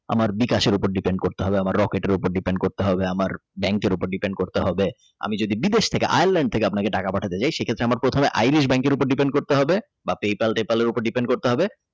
আমার বিকাশের উপর Depend করতে হবে আমার রকেটের উপর Depend করতে হবে আমার bank এর উপর Depend করতে হবে বিদেশ থেকে Ireland থেকে যদি আপনাকে টাকা পাঠাতে চাই সেটা হচ্ছে আপনার প্রথমে আইডিজ bank কের উপরে Depend করতে হবে বা PayPal ট্যাপেল উপর Depend করতে হবে।